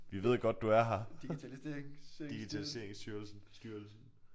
Vi ved godt du er her digitaliseringsstyrelsen styrelsen